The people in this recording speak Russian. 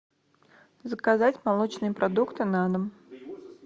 заказать молочные продукты на дом